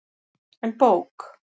En bók?